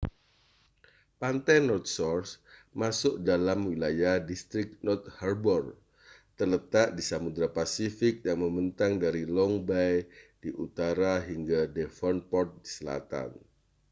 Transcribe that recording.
pantai north shore masuk dalam wilayah distrik north harbour terletak di samudra pasifik dan membentang dari long bay di utara hingga devonport di selatan